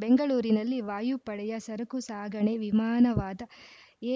ಬೆಂಗಳೂರಿನಲ್ಲಿ ವಾಯುಪಡೆಯ ಸರಕು ಸಾಗಣೆ ವಿಮಾನವಾದ